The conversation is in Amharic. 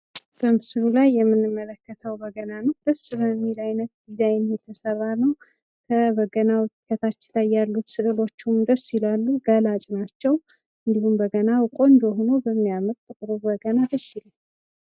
በምስሉ ላይ የምንመለከተው በገና ነው ደስ በሚለው አይነት ዲዛይን የተሰራ ነው። በገናው ላይ ከታች ያሉትም ስዕሎች ደስ ይላሉ ስሜት ገላጭ ናቸው። እንዲሁም በገናው ቆንጆ ሆኖ የሚያምር ጥቁር በገና ደስ ይላል።